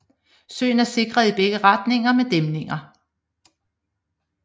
Søen er sikret i begge retninger med dæmninger